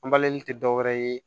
An tɛ dɔwɛrɛ ye